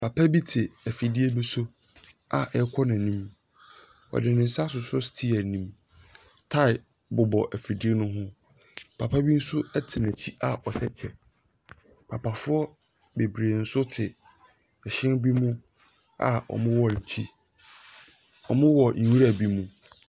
Papa bi te afidie bi so a ɛkɔ n'anim. Ɔde ne nsa asosɔ steeya nim. Tae bobɔ afidie no ho. Papa bi nso ɛte n'akyi a ɔhyɛ kyɛ. Papafoɔ beberee nso te ɛhyɛn bi mu a ɔmo wɔ akyi. Ɔmo wɔ nwura bi mu.